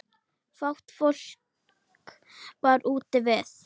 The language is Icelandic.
Fátt fólk var úti við.